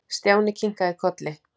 Stjáni kinkaði kolli.